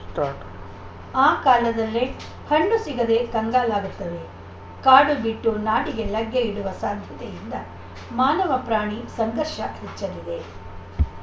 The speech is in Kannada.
ಸ್ಟಾರ್ಟ್ ಆ ಕಾಲದಲ್ಲೇ ಹಣ್ಣು ಸಿಗದೆ ಕಂಗಾಲಾಗುತ್ತವೆ ಕಾಡು ಬಿಟ್ಟು ನಾಡಿಗೆ ಲಗ್ಗೆಯಿಡುವ ಸಾಧ್ಯತೆಯಿಂದ ಮಾನವ ಪ್ರಾಣಿ ಸಂಘರ್ಷ ಹೆಚ್ಚಲಿದೆ